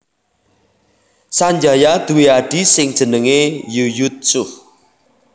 Sanjaya duwé adhi sing jenenge Yuyutsuh